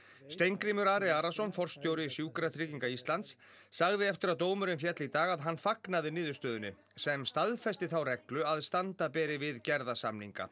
Steingrímur Ari Arason forstjóri Sjúkratrygginga Íslands sagði eftir að dómurinn féll í dag að hann fagnaði niðurstöðunni sem staðfesti þá reglu að standa beri við gerða samninga